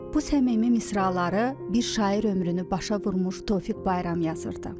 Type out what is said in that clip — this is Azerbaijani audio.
Bu səmimi misraları bir şair ömrünü başa vurmuş Tofiq Bayram yazırdı.